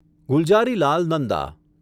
Gulzarilal Nanda